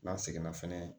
N'an seginna fɛnɛ